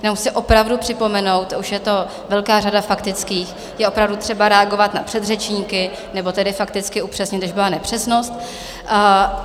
Jenom chci opravdu připomenout, už je to velká řada faktických, je opravdu třeba reagovat na předřečníky, nebo tedy fakticky upřesnit, když byla nepřesnost.